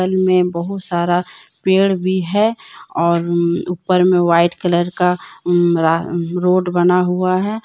इनमें बहुत सारा पेड़ भी है और ऊपर में वाइट कलर का रा रोड बना हुआ है।